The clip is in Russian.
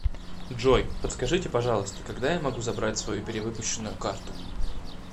джой подскажите пожалуйста когда я могу забрать свою перевыпущенную карту